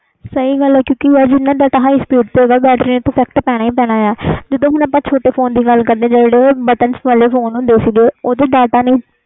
ਸਹੀ ਗੱਲ ਯਾਰ ਜਿਨ੍ਹਾਂ data high speed ਤੇ ਓਹਨਾ ਬੈਟਰੀ ਤੇ effect ਪੈਣਾ ਹੀ ਆ ਜਦੋ ਹੁਣ ਆਪਾ ਛੋਟੇ ਫੋਨ ਦੀ ਲਗ ਕਰੀਏ ਜਿਹੜੇ ਬਟਨ ਵਾਲੇ ਫੋਨ ਸੀ ਗੇ